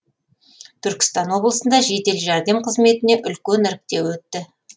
түркістан облысында жедел жәрдем қызметіне үлкен іріктеу өтті